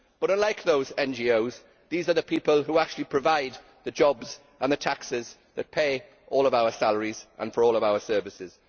But, unlike those NGOs, these are the people who actually provide the jobs and the taxes that pay all of our salaries and for all of our services.